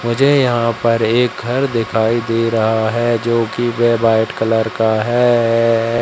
मुझे यहां पर एक घर दिखाई दे रहा है जोकि वे वाइट कलर का है।